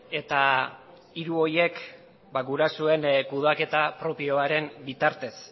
eta hiru horiek gurasoen kudeaketa propioaren bitartez